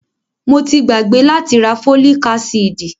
Mo ti gbàgbé láti rá fólíc ásídì.